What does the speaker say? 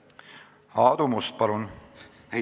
Aadu Must, palun!